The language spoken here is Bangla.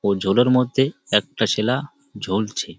ওই জলের মধ্যে একটা ছেলে জ্বলছে ।